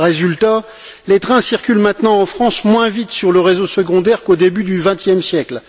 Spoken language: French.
Résultat les trains circulent maintenant en France moins vite sur le réseau secondaire qu'au début du vingtième siècle.